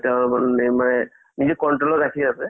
নিজে control ত ৰাখি আছে